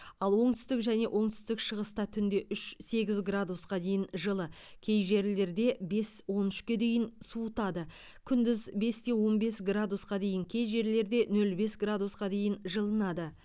ал оңтүстік және оңтүстік шығыста түнде үш сегіз градусқа дейін жылы кей жерлерде бес он үшке дейін суытады күндіз бес те он бес градусқа кей жерлерде нөл бес градусқа дейін жылынады